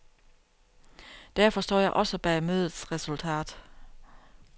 Derfor står jeg også bag mødets resultat.